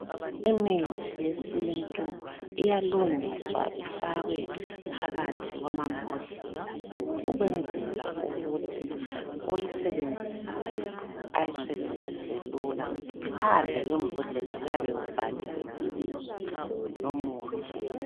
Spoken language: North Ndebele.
Imithi yesintu iyalungiswa ifakwe phakathi kwamambodlela ukwenzela ukuthi oyisebenzisayo ayisebenzise lula. Phandle kwembodlela kuyabe kubhaliwe ibizo lomuthi